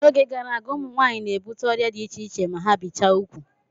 N'oge gara aga, ụmụ nwaanyị na-ebute ọrịa dị iche iche ma ha bichaa ugwu.